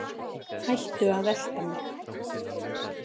Hættu að elta mig.